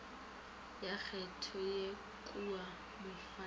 ya kgetho ye kua mofaning